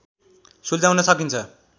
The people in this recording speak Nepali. सुल्झाउन सकिन्छ